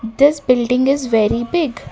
this building is very big.